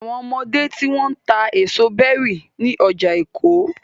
Àwọn ọmọdé tí wọ́n ń ta èso berries ní ọjà Èkó.